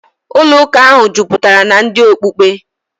Ụlọụka ahụ jupụtara na ndị okpukpe.